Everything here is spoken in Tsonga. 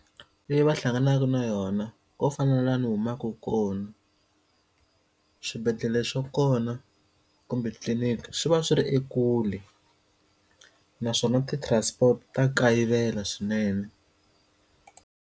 Leyi va hlanganaka na yona to fana na laha ni humaka kona swibedhlele swa kona kumbe tliliniki swi va swi ri ekule naswona ti-transport ta kayivela swinene.